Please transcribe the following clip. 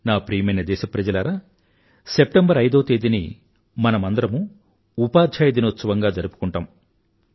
నా ప్రియమైన దేశప్రజలారా సెప్టెంబర్ ఐదవ తేదీని మనమందరమూ ఉపాధ్యాయ దినోత్సవంగా జరుపుకుంటాం